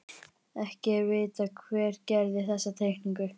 Ekki er vitað hver gerði þessa teikningu.